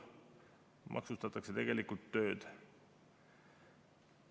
Maksustatakse tegelikult tööd.